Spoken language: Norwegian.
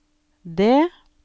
det